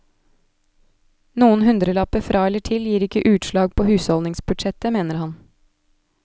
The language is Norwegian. Noen hundrelapper fra eller til gir ikke utslag på husholdningsbudsjettet, mener han.